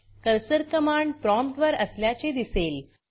cursor command promptकमांड prompt वर असल्याचे दिसेल